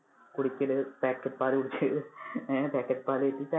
കുടിക്കല് packet പാല് കുടിക്കല്. packet വച്ചിട്ട് ചായ